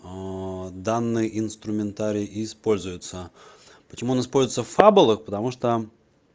аа данные инструментарий используется почему он используется в фаболах потому что